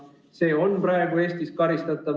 See on praegu Eestis karistatav.